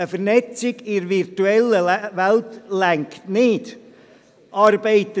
Eine Vernetzung in der virtuellen Welt reicht nicht aus!